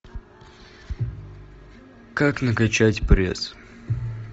как накачать пресс